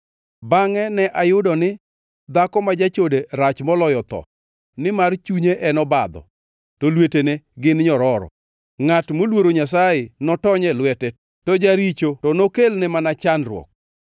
Bangʼe ne ayudo ni dhako ma jachode rach moloyo, tho nimar chunye en obadho, to lwetene gin nyororo. Ngʼat moluoro Nyasaye notony e lwete, to jaricho to nokelne mana chandruok.